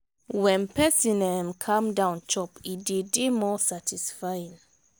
when person um calm down chop e dey dey more satisfying